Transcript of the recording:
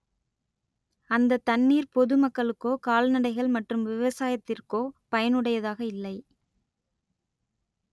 அந்த தண்ணீர் பொது மக்களுக்கோ கால்நடைகள் மற்றும் விவசாயத்திற்கோ பயனுடையதாக இல்லை